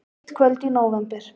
Eitt kvöld í nóvember.